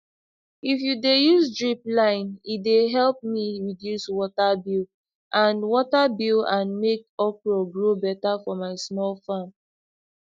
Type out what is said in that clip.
if u de use drip line e de help me reduce water bill and water bill and make okra grow better for my small farm